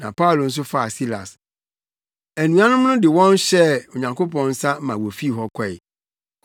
na Paulo nso faa Silas. Anuanom no de wɔn hyɛɛ Onyankopɔn nsa ma wofii hɔ kɔe.